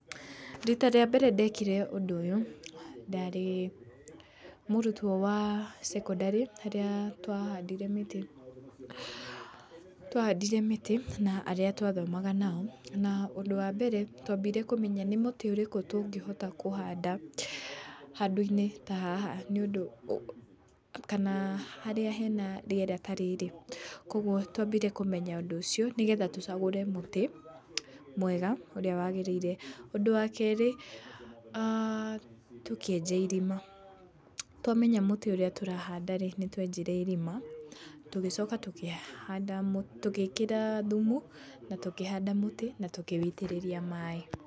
Rita rĩa mbere ndekire ũndũ ũyũ ndarĩ mũrutwo wa cekondarĩ, harĩa twahandire mĩtĩ. Twahandire mĩtĩ na arĩ twathomaga nao, na ũndũ wa mbere twambire kũmenya nĩ mũtĩ ũrĩkũ tũngĩhota kuhanda handũinĩ ta haha nĩ ũndũ, kana harĩa hena rĩera ta rĩrĩ. Kũguo twambire kũmenya ũndũ ũcio, nĩ getha tũcagũre mũtĩ mwega ũrĩa wagĩrĩire. Ũndũ wa kerĩ, tũkĩenja irima. Twamenya mũtĩ ũrĩa turahanda rĩ, nĩ twenjire irima, tũgĩcoka tũgĩkĩra thumu na tũkĩhanda mũtĩ na tũkĩũitĩrĩria maaĩ.